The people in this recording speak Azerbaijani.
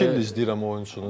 İki ildir izləyirəm oyunçunu.